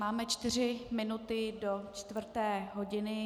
Máme čtyři minuty do čtvrté hodiny.